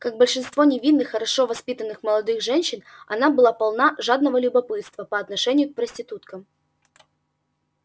как большинство невинных хорошо воспитанных молодых женщин она была полна жадного любопытства по отношению к проституткам